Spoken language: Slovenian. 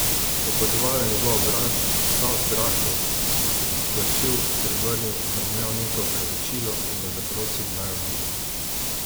Opazovala je njegov obraz, vsa v strahu, da se bo splašil, se obrnil, zamomljal nekaj v opravičilo in jo zaprosil, naj odide.